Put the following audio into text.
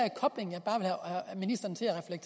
kobling